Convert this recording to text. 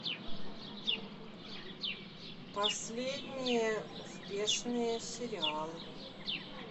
последние успешные сериалы